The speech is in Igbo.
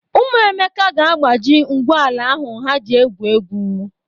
Ụmụ Emeka ga-agbaji ngwu ala ahụ ha ji égwù égwú.